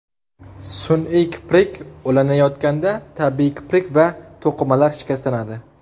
Sun’iy kiprik ulanayotganda tabiiy kiprik va to‘qimalar shikastlanadi.